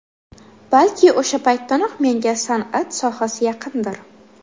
Balki, o‘sha paytdanoq menga san’at sohasi yaqindir.